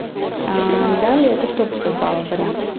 далее это сто пятьдесят баллов вариант